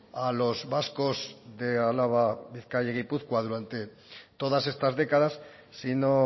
a los vascos de álava bizkaia y gipuzkoa durante todas estas décadas sino